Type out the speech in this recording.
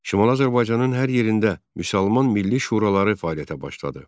Şimali Azərbaycanın hər yerində Müsəlman Milli Şuraları fəaliyyətə başladı.